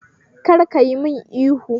Kar kayi mun ihu